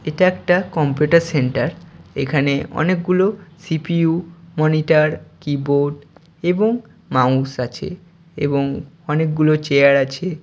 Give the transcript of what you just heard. এটা একটা computer centre. এখানে অনেকগুলো সি.পি.ইউ. মনিটর কিবোর্ড এবং মাউস আছে এবং অনেক গুলো চেয়ার আছে ।